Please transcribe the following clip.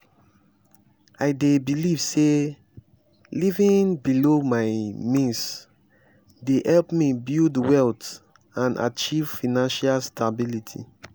i dey believe say living below my means dey help me build wealth and achieve financial stability.